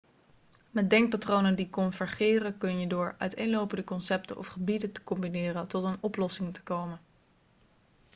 met denkpatronen die convergeren kun je door uiteenlopende concepten of gebieden te combineren tot een oplossing te komen